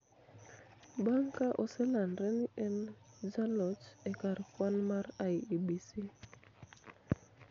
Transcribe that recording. bang' ka oselandre ni en jaloch e kar kwan mar IEBC